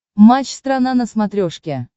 матч страна на смотрешке